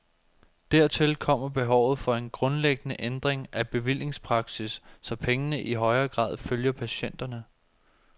Dertil kommer behovet for en grundlæggende ændring af bevillingspraksis, så pengene i højere grad følger patienterne.